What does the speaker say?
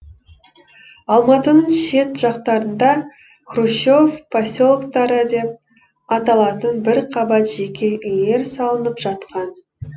алматының шет жақтарында хрущев поселоктары деп аталатын бір қабат жеке үйлер салынып жатқан